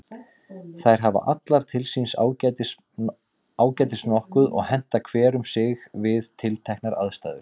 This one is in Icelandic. Þær hafa allar til síns ágætis nokkuð og henta hver um sig við tilteknar aðstæður.